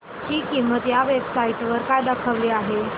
ची किंमत या वेब साइट वर काय दाखवली आहे